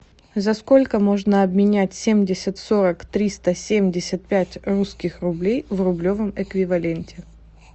за сколько можно обменять семьдесят сорок триста семьдесят пять русских рублей в рублевом эквиваленте